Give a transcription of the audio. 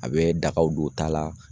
A bɛ dagaw don ta la